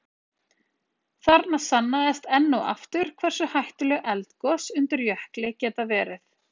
Þarna sannaðist enn og aftur hversu hættuleg eldgos undir jökli geta verið.